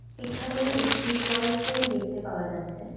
এখানে একটি toy train দেখতে পাওয়া যাচ্ছে।